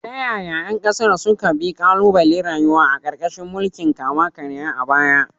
Ta yaya ƴan ƙasar suka bi ƙalubalen rayuwa a ƙarƙashin mulkin kama-karya a baya?